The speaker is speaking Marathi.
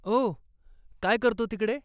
ओ, काय करतो तिकडे?